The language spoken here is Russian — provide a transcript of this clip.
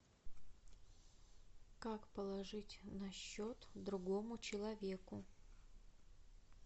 как положить на счет другому человеку